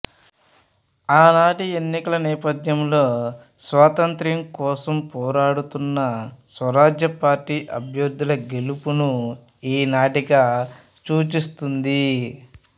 ఆనాటి ఎన్నికల నేపథ్యంలో స్వాతంత్య్రం కోసం పోరాడుతున్న స్వరాజ్య పార్టీ అభ్యర్థుల గెలుపును ఈ నాటిక సూచిస్తుంది